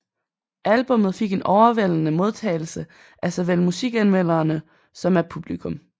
Albummet fik en overvældende modtagelse af såvel musikanmelderne som af publikum